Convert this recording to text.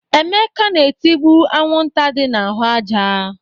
Emeka na-etigbu anwụnta dị n'ahụ ájá.